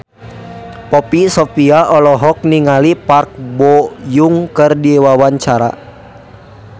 Poppy Sovia olohok ningali Park Bo Yung keur diwawancara